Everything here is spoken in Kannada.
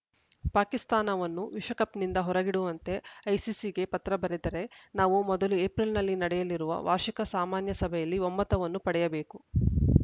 ಪಾಕಿಸ್ತಾನವನ್ನು ವಿಶ್ವಕಪ್‌ನಿಂದ ಹೊರಗಿಡುವಂತೆ ಐಸಿಸಿಗೆ ಪತ್ರ ಬರೆದರೆ ನಾವು ಮೊದಲು ಏಪ್ರಿಲ್‌ನಲ್ಲಿ ನಡೆಯಲಿರುವ ವಾರ್ಷಿಕ ಸಾಮಾನ್ಯ ಸಭೆಯಲ್ಲಿ ಒಮ್ಮತವನ್ನು ಪಡೆಯಬೇಕು